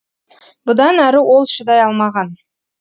бұдан әрі ол шыдай алмаған